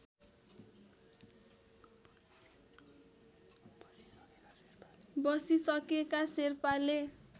बसिसकेका शेर्पाले